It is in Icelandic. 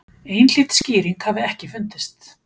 Einhlít skýring hafi ekki fundist.